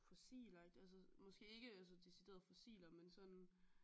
Fossiler altså måske ikke decideret fossiler men sådan